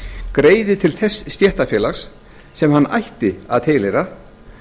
greiði til þess stéttarfélags sem hann ætti að tilheyra